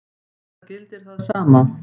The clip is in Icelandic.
Það gildir það sama.